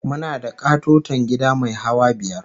Muna da ƙatoton gida mai hawa biyar